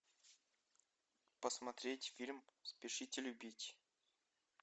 посмотреть фильм спешите любить